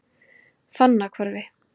Fannahvarfi